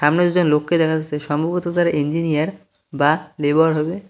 সামনে দুজন লোককে দেখা যাচ্ছে সম্ভবত তারা ইঞ্জিনিয়ার বা লেবার হবে।